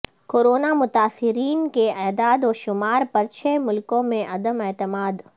corona مثاترین کے اعداد وشمار پر چھ ملکوں میں عدم اعتماد